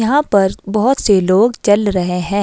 यहां पर बहुत से लोग चल रहे हैं।